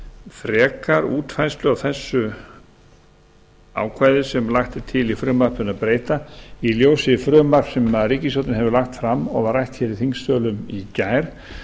frekar útfærslu á þessu ákvæði sem lagt er til í frumvarpinu að breyta í ljósi frumvarps sem ríkisstjórnin hefur lagt fram og var rætt hér í þingsölum í gær